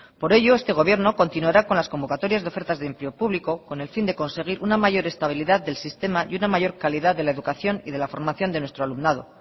por ello este gobierno continuará con las convocatorias de ofertas de empleo público con el fin de conseguir una mayor estabilidad del sistema y una mayor calidad de la educación y de la formación de nuestro alumnado